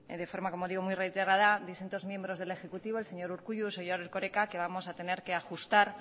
de forma como digo muy reiterada distintos miembros del ejecutivo el señor urkullu el señor erkoreka que vamos a tener que ajustar